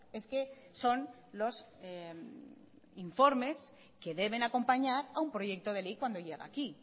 es que son los informes que deben acompañar a un proyecto de ley cuando llega aquí